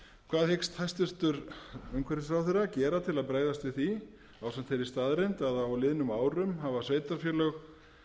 hvað hyggst hæstvirtur umhverfisráðherra gera til að bregðast við því ásamt þeirri staðreynd að á liðnum árum hafa sveitarfélög